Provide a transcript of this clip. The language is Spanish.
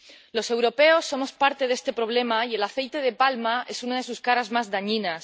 Los europeos somos parte de este problema, y el aceite de palma es una de sus caras más dañinas.